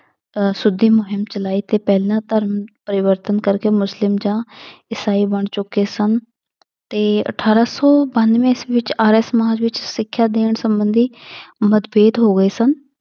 ਅਹ ਸੁੱਧੀ ਮੁਹੀਮ ਚਲਾਈ ਤੇ ਪਹਿਲਾਂ ਧਰਮ ਪਰਿਵਰਤਨ ਕਰਕੇ ਮੁਸਲਿਮ ਜਾਂ ਇਸਾਈ ਬਣ ਚੁੱਕੇ ਸਨ ਤੇ ਅਠਾਰਾਂ ਸੌ ਬਾਨਵੇਂ ਈਸਵੀ ਵਿੱਚ ਆਰੀਆ ਸਮਾਜ ਵਿੱਚ ਸਿੱਖਿਆ ਦੀਆਂ ਸੰਬੰਧੀ ਮਤਭੇਦ ਹੋ ਗਏ ਸਨ